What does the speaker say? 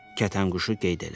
Kətənquşu qeyd elədi.